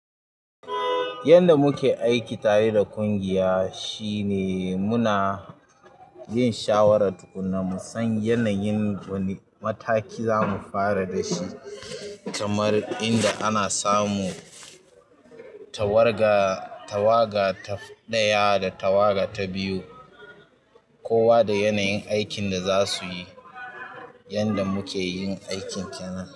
Yanda muke aiki tare da ƙungiya shine muna yin shawara tukuna, musan yanayin wani mataki zamu fara dashi. Kamar inda ana samu tawaga ta ɗaya da tawaga ta biyu, kowa da yanayin aikin da za su yi. Yanda mukeyin aiki kenan.